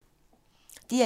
DR1